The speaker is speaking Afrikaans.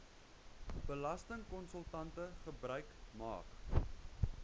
belastingkonsultante gebruik maak